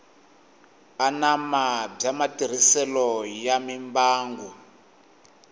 anama bya matirhiselo ya mimbangu